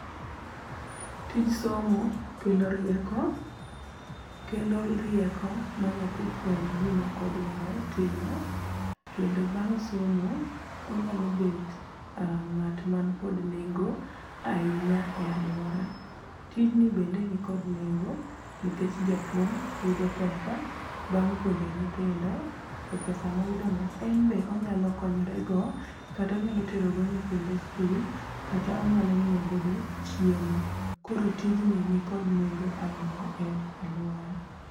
Tij somo kelo rieko kelo rieko manyathi fweny gima odwaro timo kendo bang' somo onyalo bet ng'at man kod nengo ahinya e aluora. Tijni bende nikod nengo nikech japuonj yudo pesa bang' puonjo nyithindo to pesa moyudono en be onyalo konyore go kata onyalo tero go nyithinde skul kata onyalo nyiewo godo chiemo. Koro tijni nikod nengo ahinya e aluora.